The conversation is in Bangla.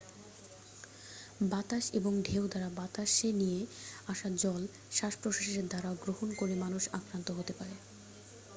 বাতাস এবং ঢেউ দ্বারা বাতাসে নিয়ে আসা জল শ্বাস প্রশ্বাসের দ্বারা গ্রহণ করে মানুষ আক্রান্ত হতে পারে